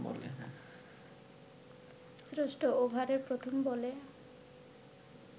ষষ্ঠ ওভারের প্রথম বলে